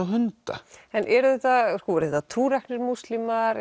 hunda en eru þetta trúræknir múslimar